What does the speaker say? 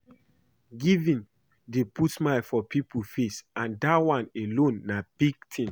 Giving dey put smile for people face and dat one alone na big thing